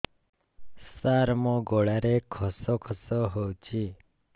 ସାର ମୋ ଗଳାରେ ଖସ ଖସ ହଉଚି